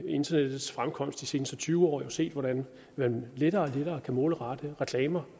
internettets fremkomst de seneste tyve år set hvordan man lettere og lettere kan målrette reklamer